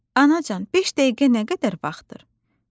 “Anacan, beş dəqiqə nə qədər vaxtdır?”